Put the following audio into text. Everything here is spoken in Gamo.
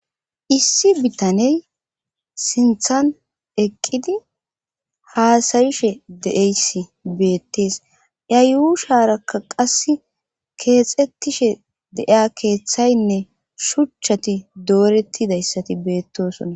issi bitaney sinthan eqqidi haasac'ishe de7eyssi beettees ya yuusharakka qas keexettishe deiya keeththaynne shuchchati doorettidayssati beettosonna